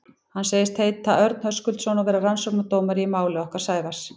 Hann sagðist heita Örn Höskuldsson og vera rannsóknardómari í máli okkar Sævars.